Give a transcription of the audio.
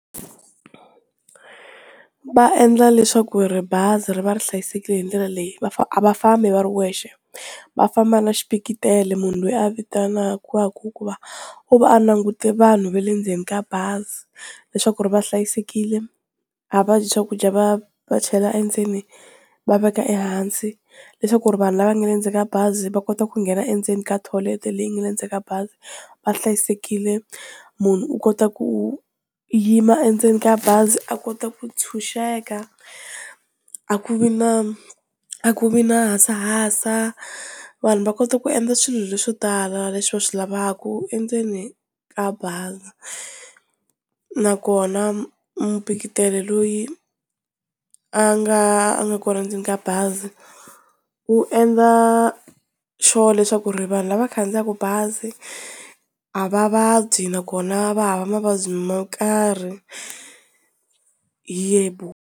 Va endla leswaku ri bazi ri va ri hlayisekile hi ndlela leyi a va fambi va ri wexe va famba na xipikitele munhu loyi a vitanaka u va a langute vanhu va le ndzeni ka bazi leswaku ri va hlayisekile a va dyi swakudya va va chela endzeni va veka ehansi leswaku ri vanhu lava nga le ndzeni ka bazi va kota ku nghena endzeni ka tholete leyi nga le ndzeni ka bazi va hlayisekile, munhu u kota ku yima endzeni ka bazi a kota ku tshunxeka a ku vi na a ku vi na hasahasa, vanhu va kota ku endla swilo leswo tala leswi va swi lavaku endzeni ka bazi nakona mupikitele loyi a nga a nga kona endzeni ka bazi wu endla sure leswaku ri vanhu lava khandziyaka bazi a va vabyi nakona va hava mavabyi mo karhi yebo.